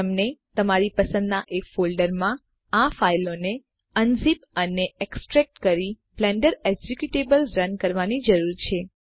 તમને તમારી પસંદના એક ફોલ્ડરમાં આ ફાઈલોને અનઝિપ અને એક્સટ્રેક્ટ કરી બ્લેન્ડર એક્ઝેક્યુટેબલને રન કરવાની જરૂર છે